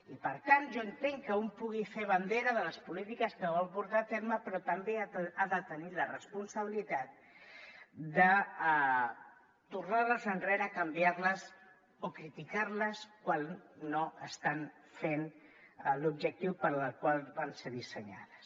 i per tant jo entenc que un vulgui fer bandera de les polítiques que vol portar a terme però també ha de tenir la responsabilitat de tornar les enrere canviar les o criticar les quan no estan fent l’objectiu per al qual van ser dissenyades